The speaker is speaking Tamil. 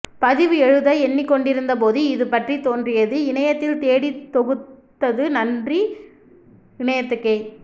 பதிவு எழுத எண்ணிக் கொண்டிருந்தபோது இது பற்றித் தோன்றியது இணையத்தில் தேடித்தொகுத்தது நன்றி இணையத்துக்கே